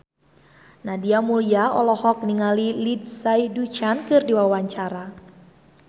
Nadia Mulya olohok ningali Lindsay Ducan keur diwawancara